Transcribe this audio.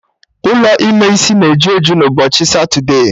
Ụlọ ime isi na eju eju n'ụbọchị satude